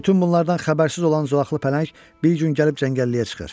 Bütün bunlardan xəbərsiz olan zolaqlı pələng bir gün gəlib cəngəlliyə çıxır.